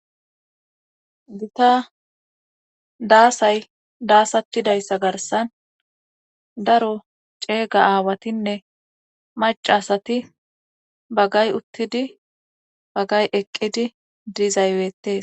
Gita daasay daasatidayssa garsan daro ceega aawatinne macasati bagay uttidi bagay eqqidi dizayweettes